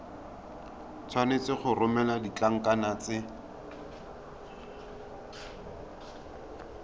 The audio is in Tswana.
tshwanetse go romela ditlankana tse